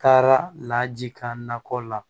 Taara laji ka nakɔ la